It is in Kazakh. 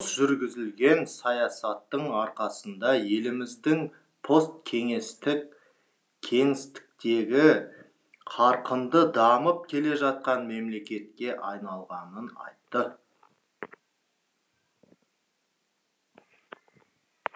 дұрыс жүргізілген саясаттың арқасында еліміздің посткеңестік кеңістіктегі қарқынды дамып келе жатқан мемлекетке айналғанын айтты